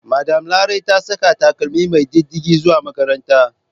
Madam Larai ta saka takalmi mai diddige zuwa makaranta.